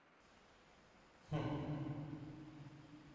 хм